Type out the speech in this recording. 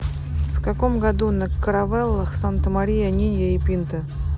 в каком году на каравеллах санта мария нинья и пинта